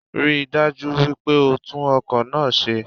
Ríi dájú wípé o tún ọkò náá ṣe